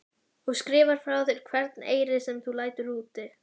Og skrifar hjá þér hvern eyri sem þú lætur úti?